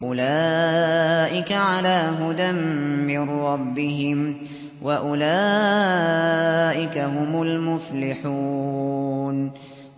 أُولَٰئِكَ عَلَىٰ هُدًى مِّن رَّبِّهِمْ ۖ وَأُولَٰئِكَ هُمُ الْمُفْلِحُونَ